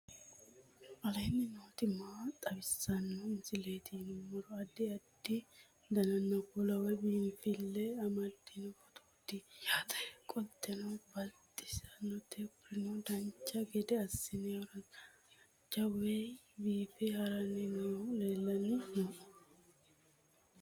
aleenni nooti maa xawisanno misileeti yinummoro addi addi dananna kuula woy biinsille amaddino footooti yaate qoltenno baxissannote konnira dancha gede assine haara danchate wayi biife haranni noohu lellanni nooe